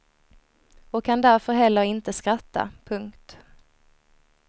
Och kan därför heller inte skratta. punkt